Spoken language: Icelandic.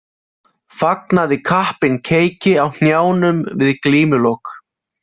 Fagnaði kappinn keiki á knjánum við glímulok.